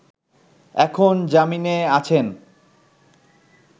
এখন জামিনে আছেন